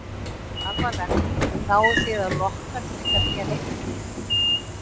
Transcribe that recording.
Er það alvarlegt, náið þið að lokka til ykkar nýja leikmenn?